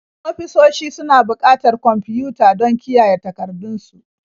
Ofisoshi suna buƙatar kwamfiyuta don kiyaye takardun su.